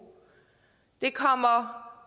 det kommer